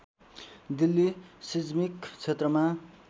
Delhi seismic क्षेत्रमा